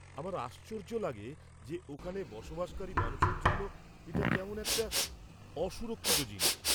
আমার আশ্চর্য লাগে যে ওখানে বসবাসকারী মানুষের জন্য এটা কেমন একটি অসুরক্ষিত জিনিস!